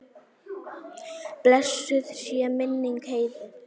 Blessuð sé minning Heiðu.